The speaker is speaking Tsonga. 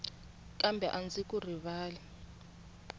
kambe a ndzi ku rivali